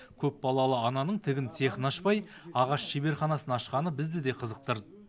көпбалалы ананың тігін цехын ашпай ағаш шеберханасын ашқаны бізді де қызықтырды